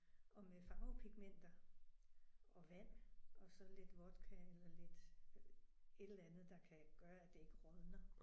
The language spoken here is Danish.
Og med farvepigmenter og vand og så lidt vodka eller lidt et eller andet der kan gøre at det ikke rådner